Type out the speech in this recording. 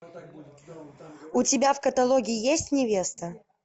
у тебя в каталоге есть невеста